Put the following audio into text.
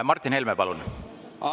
Martin Helme, palun!